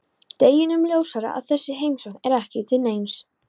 Deginum ljósara að þessi heimsókn er ekki til neins.